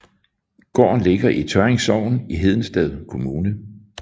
Gården ligger i Tørring Sogn i Hedensted Kommune